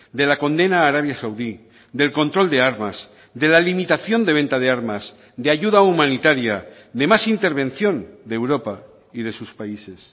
de la condena a arabia saudí del control de armas de la limitación de venta de armas de ayuda humanitaria de más intervención de europa y de sus países